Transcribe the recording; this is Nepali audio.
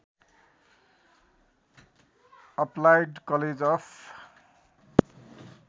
applied college of